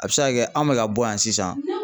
A bɛ se ka kɛ anw bɛ ka bɔ yan sisan